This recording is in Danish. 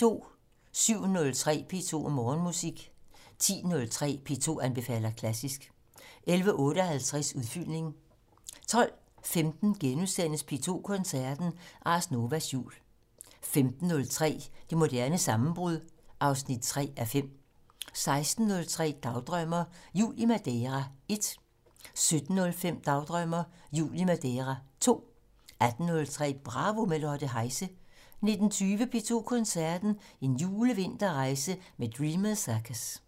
07:03: P2 Morgenmusik 10:03: P2 anbefaler klassisk 11:58: Udfyldning 12:15: P2 Koncerten - Ars Novas Jul * 15:03: Det moderne sammenbrud 3:5 16:03: Dagdrømmer: Jul i Madeira 1 17:05: Dagdrømmer: Jul i Madeira 2 18:03: Bravo - med Lotte Heise 19:20: P2 Koncerten - En julevinterrejse med Dreamers Circus